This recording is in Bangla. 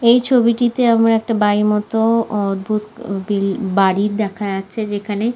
এই ছবিটিতে আমার একটা বাড়ির মত অদ্ভূত বিল বাড়ির দেখা যাচ্ছে যেখানে--